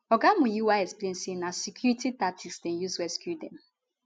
oga muyiwa explain say na security tactics dem use rescue dem